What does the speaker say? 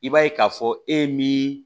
I b'a ye k'a fɔ e min